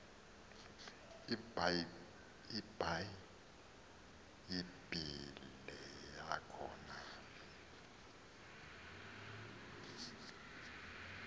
ibhayibhile yakho nale